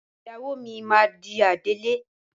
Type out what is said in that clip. Ìyàwó mi máa di adelé.